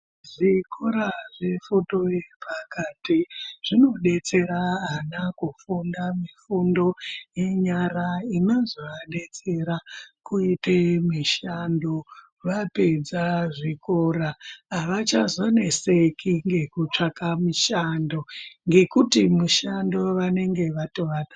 Zvikora zvefundo yepakati zvinodetsera ana kufunda mifundo yenyara inozovadetsera kuite mishando. Vapedza zvikora ,havachazoneseki ngekutsvaka mishando, ngekuti mishando vanenge vatova nayo.